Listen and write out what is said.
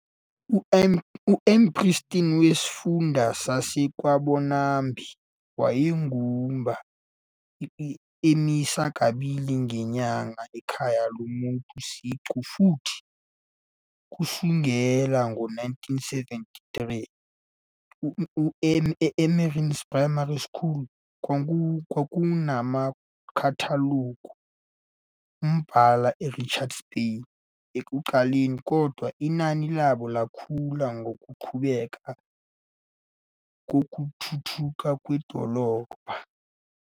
UMpristi wesifunda saseKwambonambi wayegubha iMisa kabili ngenyanga ekhaya lomuntu siqu futhi, kusukela ngo-1973, eMeerensee Primary School. KwakunamaKatholika ambalwa eRichards Bay ekuqaleni, kodwa inani labo lakhula ngokuqhubeka kokuthuthuka kwedolobha.